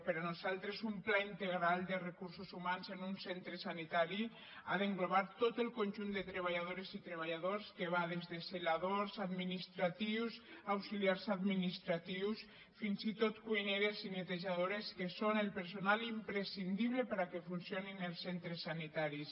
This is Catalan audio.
per nos·altres un pla integral de recursos humans en un centre sanitari ha d’englobar tot el conjunt de treballadores i treballadors que va des de zeladors administratius auxiliars administratius fins i tot cuineres i netejado·res que són el personal imprescindible perquè funcio·nin els centres sanitaris